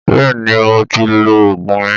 Bẹ́ẹ̀ ni, mo ti lo oògùn mi